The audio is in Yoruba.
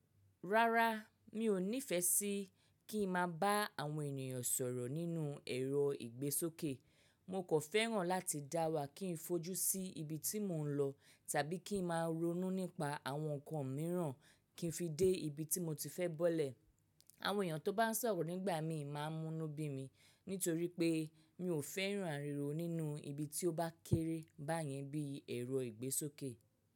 Rárá, mi ò nífẹẹ sí kí n máa bá àwọn ènìyàn sọ̀rọ̀ nínú ẹ̀rọ ìgbésókè. Mo kò fẹ́ràn láti dáwà kí n fojú sí ibi tí mò ń lọ tàbí kí n máa ronú nípa àwọn nǹkan mìíràn kí n fi dé ibi tí mo ti fẹ́ bọ́lẹ̀. Àwọn èèyàn tó bá sọ̀rọ̀ nígbà míì má a múnú bí mi nítorí pé mi ò fẹ́ràn àriwò nínú ibi tí ó bá kéré báyẹn bíi ẹ̀rọ ìgbésókè.